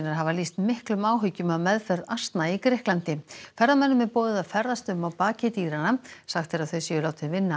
hafa lýst miklum áhyggjum af meðferð asna í Grikklandi ferðamönnum er boðið að ferðast um á baki dýranna sagt er að þau séu látin vinna